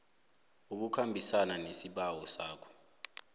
ukukhambisana nesibawo sakho